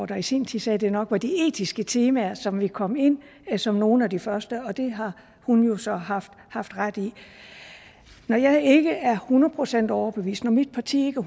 der i sin tid sagde at det nok var de etiske temaer som ville komme ind som nogle af de første og det har hun så haft haft ret i når jeg ikke er hundrede procent overbevist når mit parti ikke